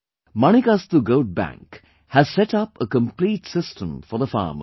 Manikastu Goat Bank has set up a complete system for the farmers